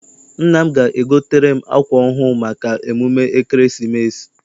Nna m ga- egotere m akwa ọhụụ maka emume ekeresimesi.